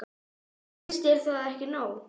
Finnst þér það ekki nóg?